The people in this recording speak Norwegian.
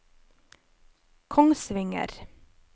Kongsvinger